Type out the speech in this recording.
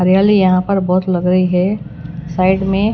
हरियाली यहाँ पर बहोत लग रही है साइड में --